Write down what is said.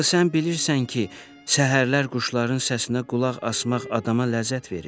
Axı sən bilirsən ki, səhərlər quşların səsinə qulaq asmaq adama ləzzət verir.